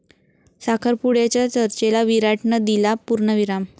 साखरपुड्याच्या चर्चेला विराटनं दिला पूर्णविराम